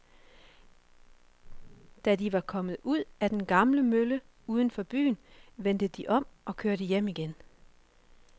Da de var kommet ud til den gamle mølle uden for byen, vendte de om og kørte hjem igen.